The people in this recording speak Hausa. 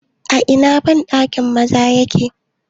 A ina bandakin maza yake?